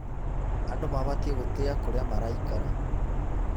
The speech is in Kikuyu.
Andũ mabatiĩ gũtĩa kũrĩa maraikara.